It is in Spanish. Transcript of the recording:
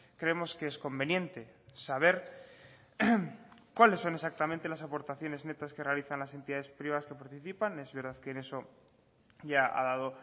creemos que es conveniente saber cuáles son exactamente las aportaciones netas que realizan las entidades privadas que participan es verdad que en eso ya ha dado